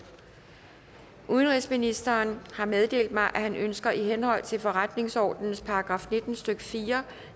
udenrigsministeren har meddelt mig at han ønsker i henhold til forretningsordenens § nitten stykke fire